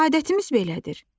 Adətimiz belədir.